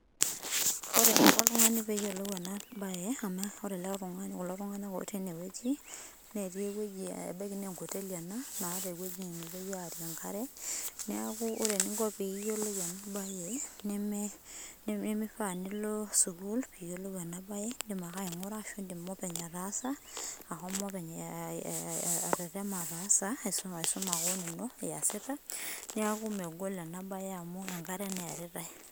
Ore eneiko oltung'ani peeyiolou enabaye amu ore ele tung'ani, kulo tung'anak otii enewueji netii ewueji ebaiki nenkoteli ena naata ewueji nepuoi aarie enkare, neaku ore eninko piiyiolou enabaye neme nemeifaa nilo sukul piiyiolou enabaye indim ake aing'ura ashu indim ninye openy ataasa, ashomo openy [aa] aah atetema ataasa aisum aa keon ino iasita. Neaku megol enabaye amu enkare neearitai.